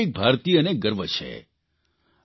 જેના પર દરેક ભારતીયને ગર્વ છે